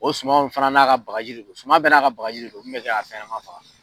O suman in fana n'a ka bagaji don, suman bɛ n'a ka bagaji don min bɛ bɛ kɛ ka faɲɛma faga.